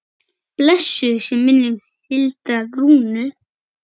Blessuð sé minning Hildar Rúnu.